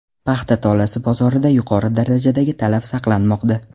Paxta tolasi bozorida yuqori darajadagi talab saqlanmoqda.